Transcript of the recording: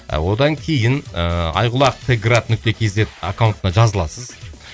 ы одан кейін ыыы айқұлақ т град нүкте кз аккаунтына жазыласыз